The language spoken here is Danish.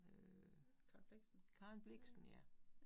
Øh, Karen Blixen ja